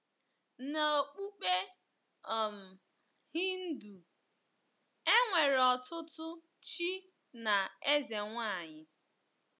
N’okpukpe um Hindu, e nwere ọtụtụ chi na ezenwaanyị.